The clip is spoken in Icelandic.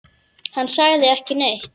Hann sagði ekki neitt.